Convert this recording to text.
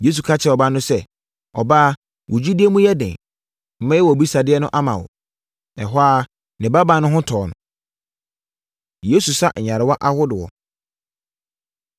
Yesu ka kyerɛɛ ɔbaa no sɛ, “Ɔbaa, wo gyidie mu yɛ den. Mɛyɛ wʼabisadeɛ ama wo.” Ɛhɔ ara, ne babaa no ho tɔɔ no. Yesu Sa Nyarewa Ahodoɔ